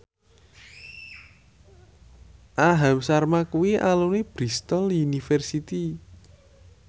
Aham Sharma kuwi alumni Bristol university